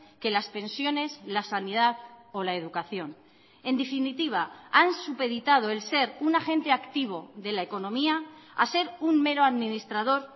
que las pensiones la sanidad o la educación en definitiva han supeditado el ser un agente activo de la economía a ser un mero administrador